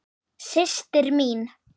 Systir mín?